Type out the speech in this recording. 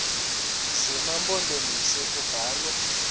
zema mpondomise kubalwa